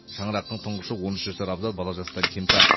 шаңырақтың тұңғышы он үш жасар абзал бала жастан кемтар